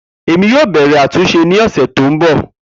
Emi yoo bẹrẹ atunṣe ni ọsẹ to nbọ.